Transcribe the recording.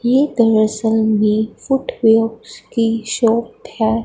ये footwear की shop है।